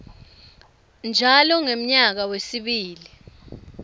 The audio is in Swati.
njalo ngemnyaka wesibili